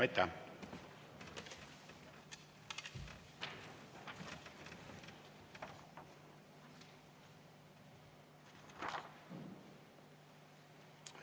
Aitäh!